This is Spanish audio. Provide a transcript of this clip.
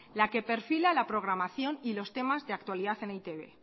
la que perfila la programación y los temas de actualidad en e i te be